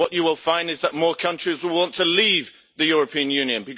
What you will find is that more countries will want to leave the European Union.